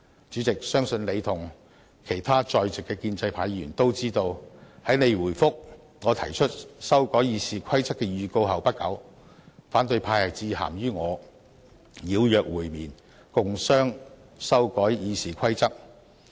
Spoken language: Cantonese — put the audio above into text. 主席，相信你和其他在席的建制派議員都知道，在你回覆我提出修改《議事規則》的預告後不久，反對派致函予我邀約會面，共商修改《議事規則》。